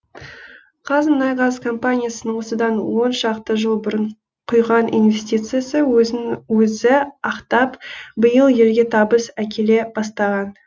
қазмұнайгаз компаниясының осыдан он шақты жыл бұрын құйған инвестициясы өзін өзі ақтап биыл елге табыс әкеле бастаған